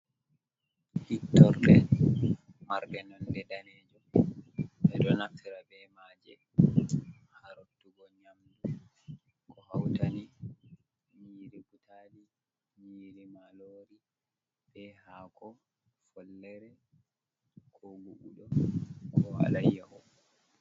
Hittorde marɗe nonde danejum ɓe ɗo haftira be maje ha rottugo nyamdu ko hautani nyiri butali, nyiri marori be hako follere ko gubuɗo be alayyaho.